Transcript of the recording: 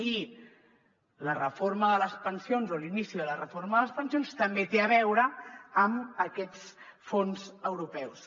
i la reforma de les pensions o l’inici de la reforma de les pensions també té a veure amb aquests fons europeus